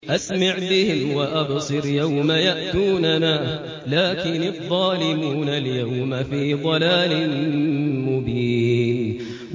أَسْمِعْ بِهِمْ وَأَبْصِرْ يَوْمَ يَأْتُونَنَا ۖ لَٰكِنِ الظَّالِمُونَ الْيَوْمَ فِي ضَلَالٍ مُّبِينٍ